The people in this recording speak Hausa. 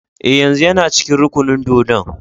Eh, yanzun yana cikin rukunin dōdon.